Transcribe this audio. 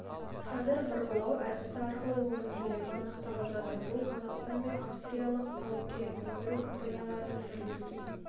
қазір бұрғылау әдісі арқылы оның көлемі нақтыланып жатыр бұл қазақстан мен австралиялық тау-кен өндіру компанияларының бірлескен